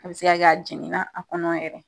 A be se ka kɛ, a jɛngɛ na a kɔnɔ yɛrɛ.